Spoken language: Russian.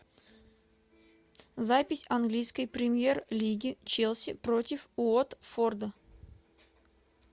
запись английской премьер лиги челси против уотфорда